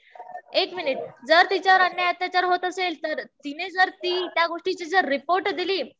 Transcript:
एक मिनिट, जर तिच्यावर अन्याय, अत्याचार होत असेल तिने जर त्या गोष्टीची रिपोर्ट दिली.